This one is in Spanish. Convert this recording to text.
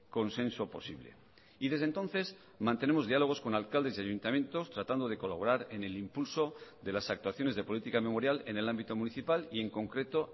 consenso posible y desde entonces mantenemos diálogos con alcaldes y ayuntamientos tratando de colaborar en el impulso de las actuaciones de política memorial en el ámbito municipal y en concreto